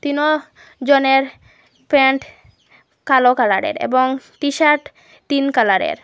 তিনঃ জনের প্যান্ট কালো কালারে র এবং টিশার্ট তিন কালারে র।